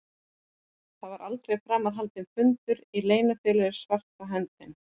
Það var aldrei framar haldinn fundur í Leynifélaginu svarta höndin.